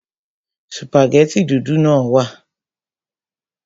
Sùpàgẹ́tì dúdú náà wà